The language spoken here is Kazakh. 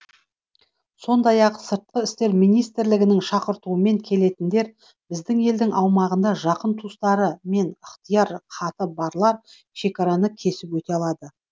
сондай ақ сыртқы істер министрлігінің шақыртуымен келетіндер біздің елдің аумағында жақын туыстары және ыхтияр хаты барлар шекараны кесіп өте алады